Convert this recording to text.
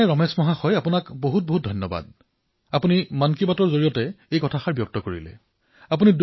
সৰ্বপ্ৰথমে ৰমেশ মহোদয়ক অশেষ ধন্যবাদ জনাইছো যে আপুনি মন কী বাতৰ জৰিয়তে দেশবাসীৰ মাজত এই কথা বিনিময় কৰাৰ সিদ্ধান্ত গ্ৰহণ কৰিছে